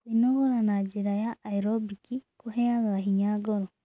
Kwĩnogora na njĩra ya aerobĩkĩ kũheaga hinya wa ngoro